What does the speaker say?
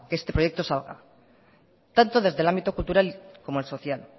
que este proyecto salga tanto desde el ámbito cultural como el social